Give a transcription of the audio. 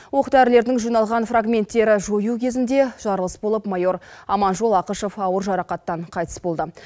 оқ дәрілердің жиналған фрагменттері жою кезінде жарылыс болып майор аманжол ақышев ауыр жарақаттан қайтыс болды